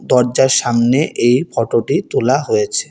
দরজার সামনে এই ফোটো -টি তোলা হয়েছে।